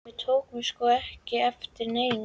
Við tókum sko ekki eftir neinu.